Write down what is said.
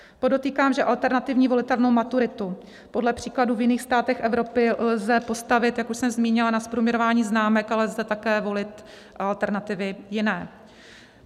Podotýkám, že alternativní volitelnou maturitu podle příkladů v jiných státech Evropy lze postavit, jak už jsem zmínila, na zprůměrování známek, ale lze také volit alternativy jiné.